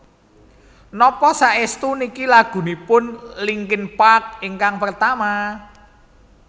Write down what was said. Napa saestu niki lagunipun Linkin Park ingkang pertama?